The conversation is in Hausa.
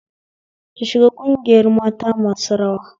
Ki shiga ƙungiyar mata masu rawa